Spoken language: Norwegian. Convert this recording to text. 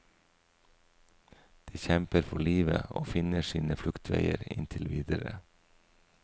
Det kjemper for livet og finner sine fluktveier inntil videre.